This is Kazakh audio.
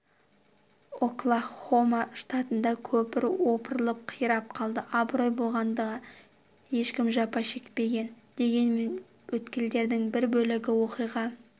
оклахома штатында көпір опырылып қирап қалды абырой болғанда ешкім жапа шекпеген дегенмен өткелдің бір бөлігі оқиға